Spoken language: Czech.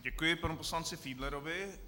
Děkuji panu poslanci Fiedlerovi.